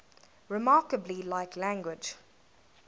remarkably like language